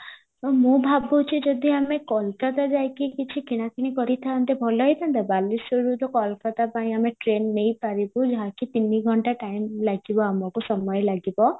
ମୁଁ ଭାବୁଚି ଯଦି ଆମେ କୋଲକାତା ଯାଇକି କିଛି କିନା କିଣି କରିଥାନ୍ତେ ଭଲ ହେଇଥାନ୍ତା ବାଲେଶ୍ଵରରୁ ତ କୋଲକାତା ପାଇଁ ଆମେ train ନେଇପାରିବୁ ଯାହାକି ତିନି ଘଣ୍ଟା time ଲାଗିବ ଆମକୁ ସମୟ ଲାଗିବ